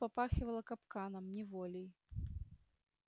тут попахивало капканом неволей